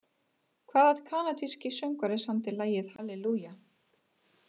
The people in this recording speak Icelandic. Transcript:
Hvaða kanadíski söngvari samdi lagið Hallelujah?